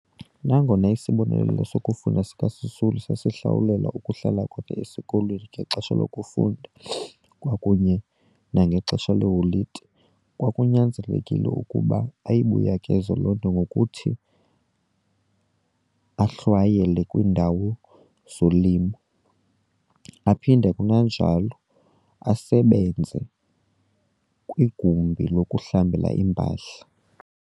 Nangona isibonelelo sokufunda sikaSisulu sasihlawulela ukuhlala kwakhe esikolweni ngexesha lokufunda kwakunye nangexesha lee holide, kwakunyanzelekile ukuba ayibuyekeze loo nto ngokuthi ahlwayele kwiindawo zolimo, aphinde kananjalo asebenze kwigumbi lokuhlamba iimpahla.